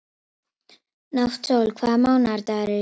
Náttsól, hvaða mánaðardagur er í dag?